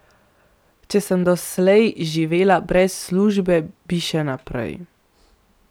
Če sem doslej živela brez službe, bi še naprej.